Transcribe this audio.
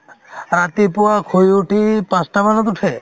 ৰাতিপুৱা শুই উঠি পাঁচটা মানত উঠে